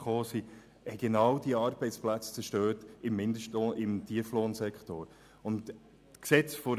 Es waren gerade diese Arbeitsplätze im Tieflohnsektor, die zerstört wurden.